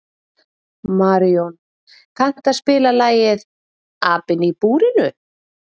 Marjón, kanntu að spila lagið „Apinn í búrinu“?